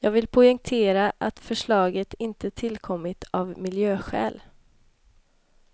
Jag vill poängtera, att förslaget inte tillkommit av miljöskäl.